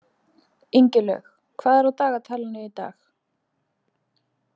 Ingilaug, hvað er á dagatalinu í dag?